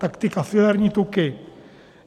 Tak ty kafilerní tuky.